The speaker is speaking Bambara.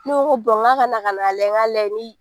Ne ko ko k'a ka na ka na lajɛ n ka lajɛ ni